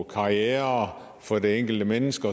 karrieren for det enkelte menneske